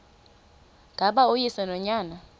ngaba uyise nonyana